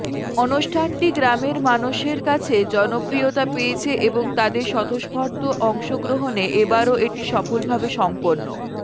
অনষ্ঠানটি গ্রামের মানষের কাছে জনপ্রিয়তা পেয়েছে এবং তাদের স্বতঃস্ফর্ত অংশগ্রহণে এবারও এটি সফলভাবে সম্পন্ন